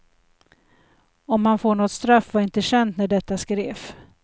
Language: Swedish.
Om han får något straff var inte känt när detta skrevs.